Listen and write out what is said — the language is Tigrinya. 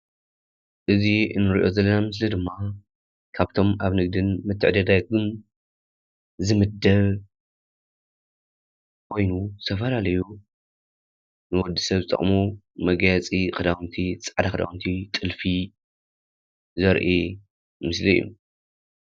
እዚ እንርእዮ ዘለና ምስሊ ድማ ካብቶም ካብ ንግደን ምትዕድዳግን ዝምደብ ኮይኑ ዝተፈላለዩ ንወዲ ሰብ ዝጠቅሙ ንመጋየፂ፣ ንክዳውንቲ ፃዕዳ ክዳውንቲ ጥልፊ ዘርኢ ምስሊ እዩ።